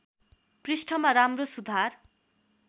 पृष्ठमा राम्रो सुधार